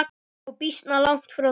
Og býsna langt frá því.